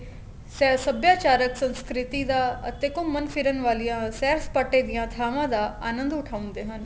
ਸੈਰ ਸਭਿਆਚਾਰਕ ਸੰਸਕ੍ਰਿਤੀ ਦਾ ਅਤੇ ਘੁੰਮਣ ਫਿਰਨ ਵਾਲੀਆਂ ਸੈਰ ਸਪਾਟੇ ਦੀਆਂ ਥਾਵਾਂ ਦਾ ਆਨੰਦ ਉਠਾਉਂਦੇ ਹਨ